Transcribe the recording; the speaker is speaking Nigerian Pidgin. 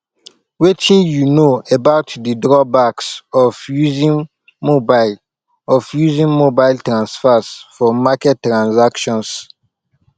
wetin you know about di drawbacks of using mobile of using mobile transfers for market transactions